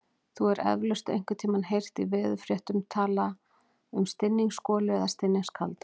Þú hefur eflaust einhvern tímann heyrt í veðurfréttum talað um stinningsgolu eða stinningskalda.